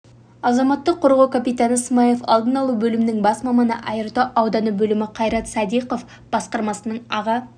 азаматтық қорғау капитаны смайлов алдын алу бөлімінің бас маманы айыртау ауданы бөлімі қайрат садиқов басқармасының аға